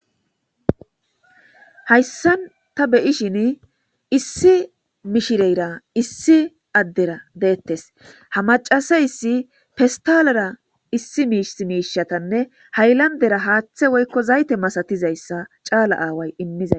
hayssan ta beyishin issi mishireyra issi addera deettes ha macasayssi festalera issi miis miishatanne haylandera haaththe woykko zayte masatizayssa caala aaway immizay